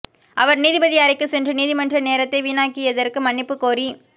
அவர் நீதிபதி அறைக்கு சென்று நீதிமன்ற நேரத்தை வீணாக்கியதற்கு மன்னிப்பு கோரி